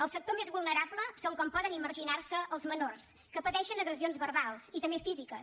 el sector més vulnerable són com poden imaginar se els menors que pateixen agressions verbals i també físiques